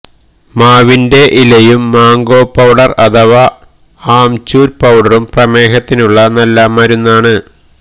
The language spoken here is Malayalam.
മാവിന്റെ ഇലയും മാംഗോ പൌഡര് അഥവാ ആംചുര് പൌഡറും പ്രമേഹത്തിനുള്ള നല്ല മരുന്നാണ്